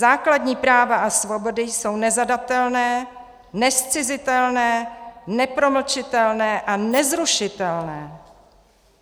Základní práva a svobody jsou nezadatelné, nezcizitelné, nepromlčitelné a nezrušitelné."